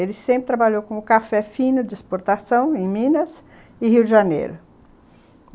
Ele sempre trabalhou com café fino de exportação em Minas e Rio de Janeiro.